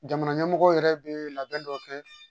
Jamana ɲɛmɔgɔw yɛrɛ bɛ labɛn dɔ kɛ